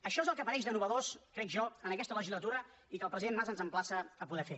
això és el que apareix de nou ho crec jo en aquesta legislatura i que el president mas ens emplaça a poder fer